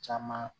Caman